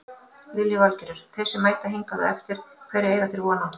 Lillý Valgerður: Þeir sem mæta hingað á eftir hverju eiga þeir von á?